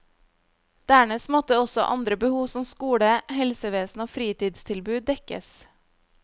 Dernest måtte også andre behov som skole, helsevesen og fritidstilbud dekkes.